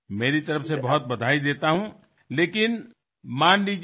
मी आपले मनापासून अभिनंदन करतो